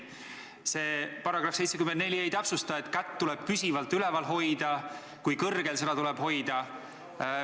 See paragrahv ei täpsusta, kas kätt tuleb üleval hoida püsivalt või kui kõrgel seda tuleb hoida.